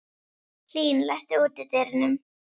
Hlín, læstu útidyrunum.